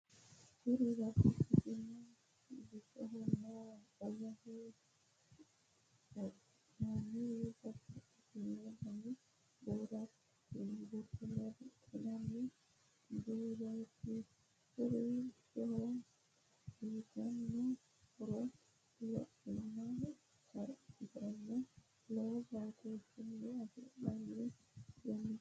Kuri babbaxitino bisohonna umoho buurdhinanni babbaxitino dani buurattootinna riqqinanni buurooti kuri bisoho uytanno horo luphiima ikkansanni lowo batooshshinni afantanno uduunnichooti.